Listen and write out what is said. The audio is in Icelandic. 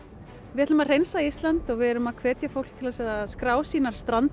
við ætlum að hreinsa Ísland og við erum að hvetja fólk til að skrá sínar